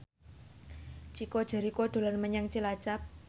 Chico Jericho dolan menyang Cilacap